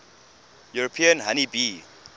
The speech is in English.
european honey bee